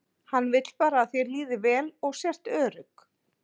Hún vill bara að þér líði vel og sért örugg.